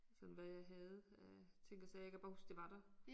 Sådan hvad jeg havde af ting og sager. Jeg kan bare huske det var der